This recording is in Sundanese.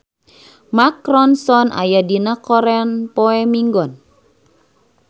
Mark Ronson aya dina koran poe Minggon